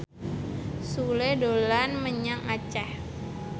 Sule dolan menyang Aceh